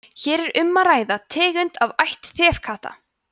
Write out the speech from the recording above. hér er um að ræða tegund af ætt þefkatta